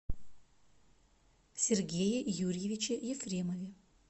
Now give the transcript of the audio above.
сергее юрьевиче ефремове